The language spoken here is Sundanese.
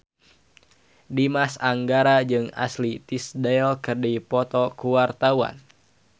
Dimas Anggara jeung Ashley Tisdale keur dipoto ku wartawan